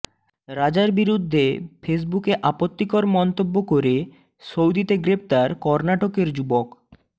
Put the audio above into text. রাজার বিরুদ্ধে ফেসবুকে আপত্তিকর মন্তব্য করে সৌদিতে গ্রেফতার কর্ণাটকের যুবক